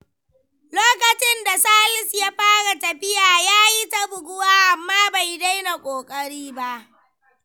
Lokacin da Salisu ya fara tafiya, ya yi ta buguwa amma bai daina ƙoƙari ba.